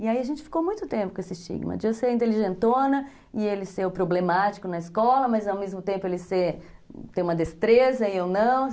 E aí a gente ficou muito tempo com esse estigma de eu ser a inteligentona e ele ser o problemático na escola, mas ao mesmo tempo ele ser, ter uma destreza e eu não.